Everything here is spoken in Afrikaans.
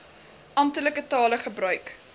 amptelike tale gebruik